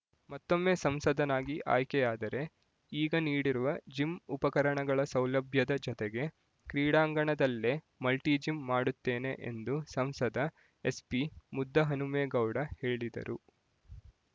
ಮತ್ತೊಮ್ಮೆ ಸಂಸದನಾಗಿ ಆಯ್ಕೆಯಾದರೆ ಈಗ ನೀಡಿರುವ ಜಿಮ್ ಉಪಕರಣಗಳ ಸೌಲಭ್ಯದ ಜತೆಗೆ ಕ್ರೀಡಾಂಗಣದಲ್ಲೇ ಮಲ್ಟಿಜಿಮ್ ಮಾಡುತ್ತೇನೆ ಎಂದು ಸಂಸದ ಎಸ್ಪಿ ಮುದ್ದಹನುಮೇಗೌಡ ಹೇಳಿದರು